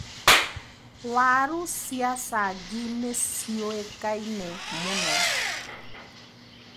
Waru cia cangi nĩciũikaine mũno.